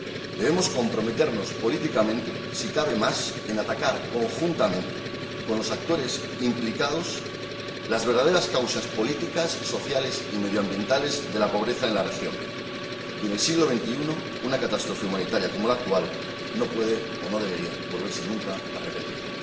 debemos comprometernos políticamente en mayor grado, si cabe a atacar conjuntamente con los actores implicados las verdaderas causas políticas, sociales y medioambientales de la pobreza en la región, y en el siglo XXI una catástrofe humanitaria como la actual no puede o no debería volver a repetirse